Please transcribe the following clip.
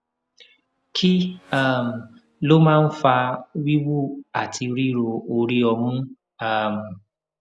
kí um ló máa ń fa wiwu àti riro ori omu um